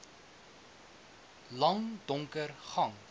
lang donker gang